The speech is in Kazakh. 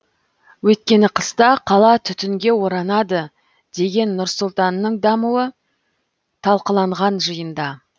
өйткені қыста қала түтінге оранады деген нұр сұлтанның дамуы талқыланған жиында